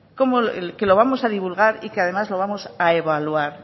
que lo vamos a divulgar y que además lo vamos a evaluar